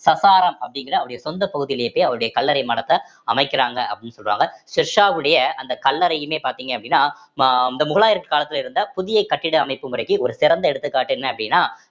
சசாராம் அப்படிங்கிற அவருடைய சொந்த பகுதியிலேயே போய் அவருடைய கல்லறை மடத்தை அமைக்குறாங்க அப்படின்னு சொல்றாங்க ஷெர்ஷாவுடைய அந்த கல்லறையுமே பார்த்தீங்க அப்படின்னா அஹ் அந்த முகலாயர் காலத்துல இருந்த புதிய கட்டிட அமைப்பு முறைக்கு ஒரு சிறந்த எடுத்துக்காட்டு என்ன அப்படின்னா